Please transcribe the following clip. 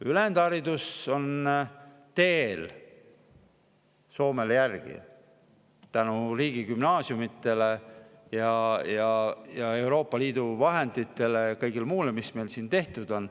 Ülejäänud haridus on teel, et Soomele järgi jõuda, tänu riigigümnaasiumidele, Euroopa Liidu vahenditele ja kõigele muule, mis meil siin tehtud on.